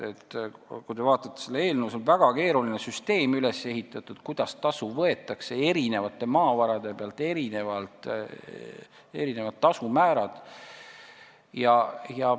Kui te vaatate seda eelnõu, siis näete, et meil on üles ehitatud väga keeruline süsteem, kuidas maavarade pealt tasu võetakse – tasumäärad on erinevad.